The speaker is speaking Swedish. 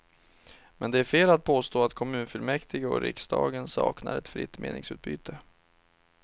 Men det är fel att påstå att kommunfullmäktige och riksdagen saknar ett fritt meningsutbyte.